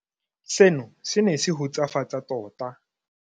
Seno se ne se hutsafatsa tota.